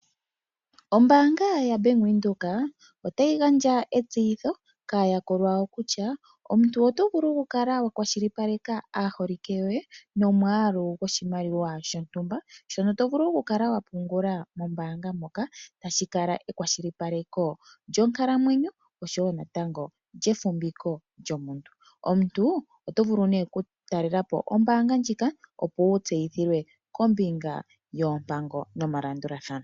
Ombaanga ya Venduka otayi gandja etseyitho kaayakulwa yawo kutya omuntu otovulu okukala wulakwashilipaleka aaholike yoye nomwaalu gwontumba mombaanga moka hashi kala ekwashilipaleko lyonkalamwenyo oshowo natango lyefumviko lyomuntu. Omuntu otovulu nee oku talelapo ombaanga ndjika opo wu tseyithilwe kombinga yoompango nomalandulathano.